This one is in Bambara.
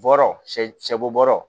Bɔrɔ sɛ sɛ bo bɔrɔ